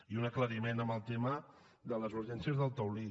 i un aclariment en el tema del es urgències del taulí